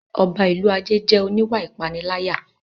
Ọba ìlú Ajé jẹ́ oníwà ìpániláyà